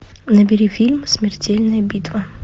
набери фильм смертельная битва